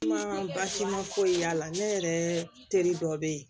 Kuma basi ma foyi y'a la ne yɛrɛ teri dɔ bɛ yen